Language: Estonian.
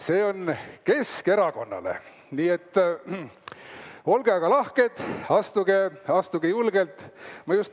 See on Keskerakonnale, nii et olge lahked, astuge, siia, astuge julgelt!